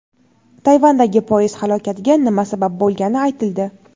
Tayvandagi poyezd halokatiga nima sabab bo‘lgani aytildi.